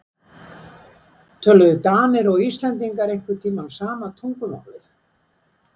Töluðu Danir og Íslendingar einhvern tíma sama tungumálið?